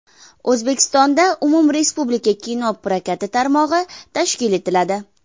O‘zbekistonda umumrespublika kino prokati tarmog‘i tashkil etiladi.